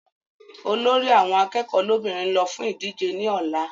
Olórí àwọn akẹ́kọ̀ọ́ lọ́bìnrin n lọ fún ìdíje ní ọ̀la